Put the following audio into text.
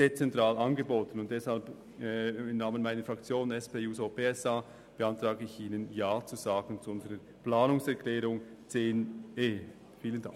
Im Namen der SPJUSO-PSA-Fraktion beantrage ich Ihnen, zu unserer Planungserklärung zu 10.e Ja zu sagen.